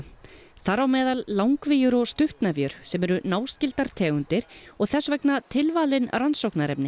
þar á meðal langvíur og stuttnefjur sem eru náskyldar tegundir og þess vegna tilvalin rannsóknarefni